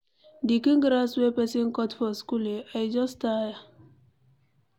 The kin grass wey person cut for school eh, I just tire.